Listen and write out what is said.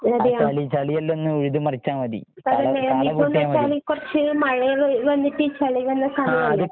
അതെയോ? പക്ഷെ ഇപ്പോന്നു വച്ചാല് കുറച്ച് മഴയെല്ലാം വ് വന്നിട്ട് ചളിയെല്ലാം